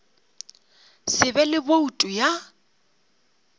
se be le boutu ya